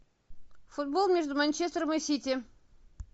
футбол между манчестером и сити